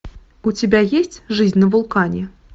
у тебя есть жизнь на вулкане